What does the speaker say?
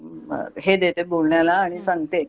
हे देते बोलण्याला आणि सांगते हम्म